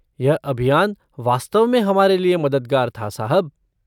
यह अभियान वास्तव में हमारे लिए मददगार था, साहब।